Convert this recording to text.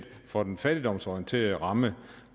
for den fattigdomsorienterede ramme